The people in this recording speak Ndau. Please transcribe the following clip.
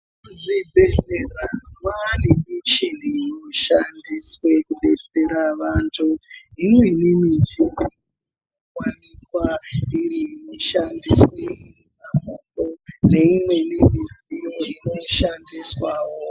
Zvibhedhlera mwane michini inoshandiswe kubetsera vantu. Imweni michina inowanikwa yeishandiswa neimweni midziyo inoshandiswawo.